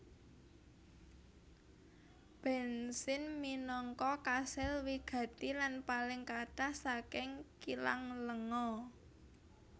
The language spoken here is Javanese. Bensin minangka kasil wigati lan paling kathah saking kilang lenga